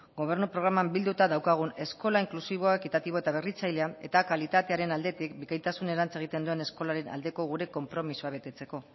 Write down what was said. gobernu programan bilduta daukagun eskola inklusiboa ekitatiboa eta berritzailea eta kalitatearen aldetik bikaintasunerantza egiten duen eskolaren aldeko gure konpromisoa betetzeko